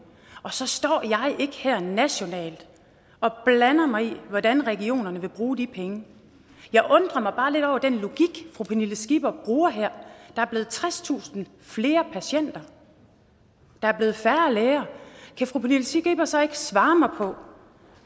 og så står jeg ikke her nationalt og blander mig i hvordan regionerne vil bruge de penge jeg undrer mig bare lidt over den logik fru pernille skipper bruger her der er blevet tredstusind flere patienter der er blevet færre læger kan fru pernille skipper så ikke svare mig på